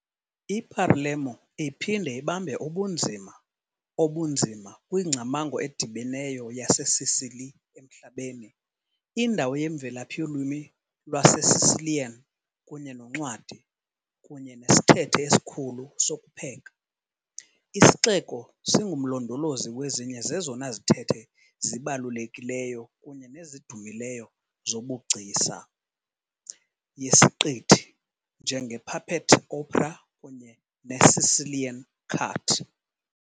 I-Palermo iphinde ibambe ubunzima obunzima kwingcamango edibeneyo yaseSicily emhlabeni- indawo yemvelaphi yolwimi lwaseSicilian kunye noncwadi, kunye nesithethe esikhulu sokupheka, isixeko singumlondolozi wezinye zezona zithethe zibalulekileyo kunye nezidumileyo zobugcisa. yesiqithi, njengePuppet Opera kunye neSicilian Cart.